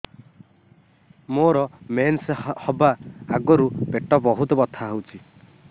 ମୋର ମେନ୍ସେସ ହବା ଆଗରୁ ପେଟ ବହୁତ ବଥା ହଉଚି